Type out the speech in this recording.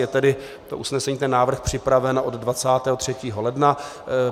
Je tedy to usnesení, ten návrh, připraveno od 23. ledna.